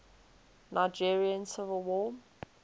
nigerian civil war